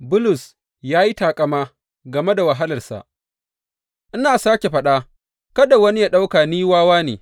Bulus ya yi taƙama game da wahalarsa Ina sāke faɗa, kada wani yă ɗauka ni wawa ne.